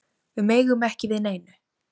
Við megum ekki við neinu